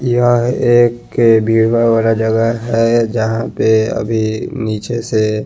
यहा एक वाला जगा है जहा पे अभी निचे से--